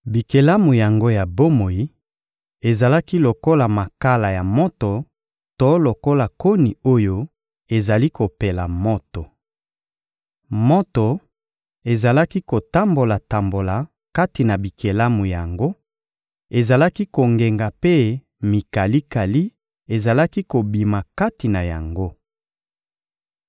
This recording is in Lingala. Bikelamu yango ya bomoi ezalaki lokola makala ya moto to lokola koni oyo ezali kopela moto. Moto ezalaki kotambola-tambola kati na bikelamu yango, ezalaki kongenga mpe mikalikali ezalaki kobima kati na yango.